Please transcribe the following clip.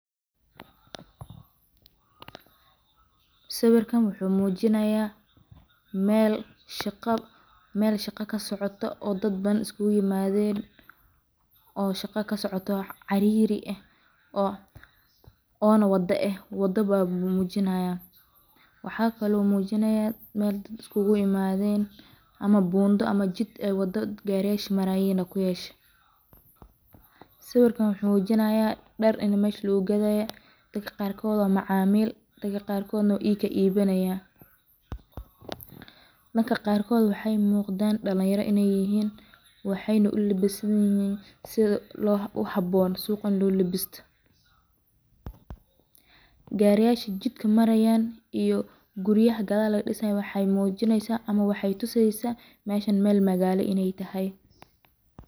Sawirkan wuxuu muujinayaa meel shaqad-- meel shaqa ka socoto oo dadbaan isku guuy-maadeen oo shaqa ka socoto cariri ah oo-oona waddo ah. Waddo baba muujinaya. Waxaa kaloo muujinaya meel dad isku guuy-maadeen ama buundo ama jid ee waddo gaareeshi maraaya ku yeesh. Sababkan wuxuu muujinayaa dhar in meesh luu gadaya la ka qarkood oo macaamiil la ka qarkoodnu iyo iinka iibanaya. La ka qarkood waxay muuqdaan dhaneyro inay yihiin waxeyn u libisnayn si loo u habboon suuqan luul labista. Gaariga jidka maraayaan iyo guryaha galaad dhisay waxay muujinaysa ama waxay tusaaysa meesha meel magaalo inay tahay.